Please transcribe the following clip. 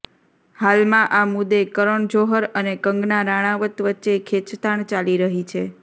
હાલમાં આ મુદ્દે કરણ જોહર અને કંગના રાણાવત વચ્ચે ખેંચતાણ ચાલી રહી છે